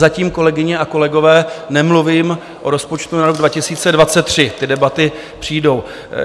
Zatím, kolegyně a kolegové, nemluvím o rozpočtu na rok 2023, ty debaty přijdou.